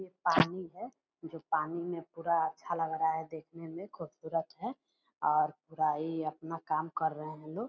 ये पानी है जो पानी में पूरा अच्छा लग रहा है देखने में खुबसूरत है और पूरा ये अपना काम कर रहे हैं लोग।